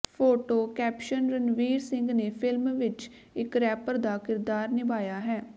photo caption Ranveer Singh ਨੇ film ਵਿੱਚ ਇੱਕ ਰੈਪਰ ਦਾ ਕਿਰਦਾਰ ਨਿਭਾਇਆ ਹੈ